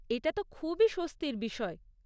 এটা তো খুবই স্বস্তির বিষয়।